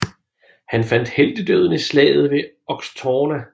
Han fandt heltedøden i slaget ved Axtorna